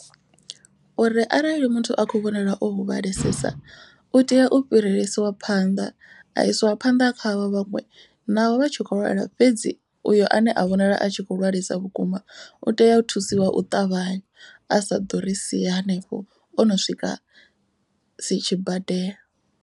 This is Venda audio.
Uri arali muthu a khou vhonala o huvhalesesa u tea u fhirisiwa phanḓa a isiwa phanḓa khavho vhaṅwe. Naho vha tshi kho lwala fhedzi uyo ane a vhonala a tshi kho lwalesa vhukuma u tea u thusiwa u ṱavhanya. A sa ḓori sia hanefho o no swika si tshi badela.